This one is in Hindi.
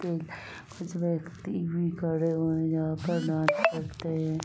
कुछ व्यक्ति भी खड़े हुए हैं जहाँ पे डांस करते हैं।